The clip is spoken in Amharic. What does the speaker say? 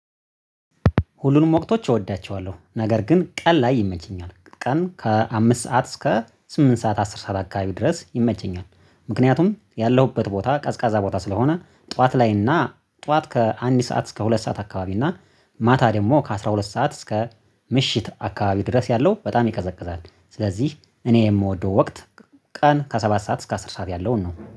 ሁሉንም ወቅቶች እወዳቸዋለሁ ነገር ግን ቀን ላይ ይመችኛል ቀን ከአምስት ሰዓት እስከ ስምንት ሰዓት አስር ሰዓት አካባቢ ድረስ ይመቸኛል። ምክንያቱም ያለሁበት ቦታ ቀዝቃዛ ቦታ ስለሆነ ጠዋት ላይና ጠዋት ከአንድ ሰዓት እስከ ሁለት ሰዓት አካባቢ እና ማታ ደግሞ ከአሥራ ሁለት ሰዓት እስከ ምሽት አካባቢ ድረስ ያለው በጣም ይቀዘቅዛል። ስለዚህ እኔ የምወደው ወቅት ቀን ከሰባት ሰዓት እስከ አስር ሰዓት ያለውን ነው